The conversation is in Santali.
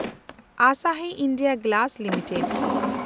Asahi India glass limited